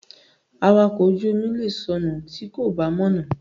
Awakọ̀ ojú omi lè sọnù tí kò bá mọ̀nà.